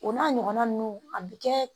O n'a ɲɔgɔnna ninnu a bɛ kɛ